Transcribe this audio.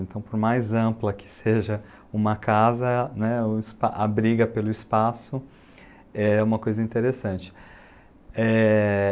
Então, por mais ampla que seja uma casa, né, a briga pelo espaço é uma coisa interessante. É...